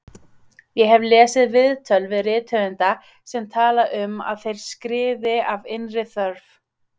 Ég hef lesið viðtöl við rithöfunda sem tala um að þeir skrifi af innri þörf.